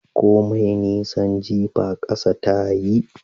Komai nisan jifa kasa ta yi